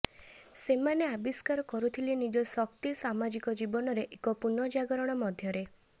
ସେମାନେ ଆବିଷ୍କାର କରୁଥିଲେ ନିଜ ଶକ୍ତି ସାମାଜିକ ଜୀବନରେ ଏକ ପୁନଃଜାଗରଣ ମଧ୍ୟରେ